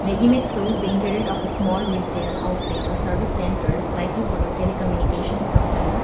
image shows the internet of a small retail outlet or service centers likely tele communications company.